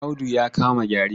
Audu ya kama gyare.